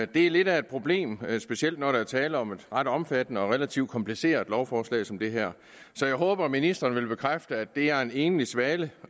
det er lidt af et problem specielt når der er tale om et ret omfattende og relativt kompliceret lovforslag som det her så jeg håber at ministeren vil bekræfte at det er en enlig svale